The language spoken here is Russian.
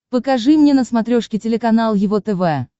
покажи мне на смотрешке телеканал его тв